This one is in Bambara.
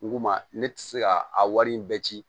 Nko ma ne tɛ se ka a wari in bɛɛ ci